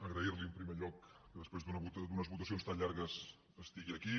agrair li en primer lloc que després d’unes votacions tan llargues estigui aquí